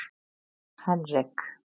Henrik